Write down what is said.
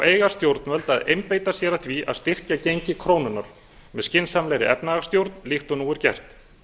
eiga stjórnvöld að einbeita sér að því að styrkja gengi krónunnar með skynsamlegri efnahagsstjórn líkt og nú er gert